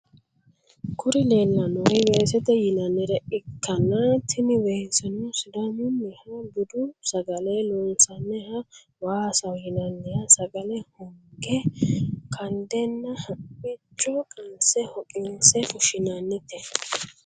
Kuri leelanori weesete yinanire ikana tini weeseno sidamuniha budu sagale lonsaniha waasaho yinaniha sagale honge kandena hamichono qanse hoqinse fushinanite